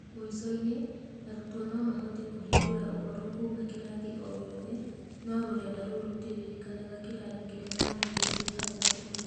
Mũico-inĩ, arutwo no mahote kũhingũra ũhoro kuuma kĩrathi o gĩothe, no rũrenda rou rũtiririkanaga kĩrathi kĩrĩa mahingũrĩte hau kabere.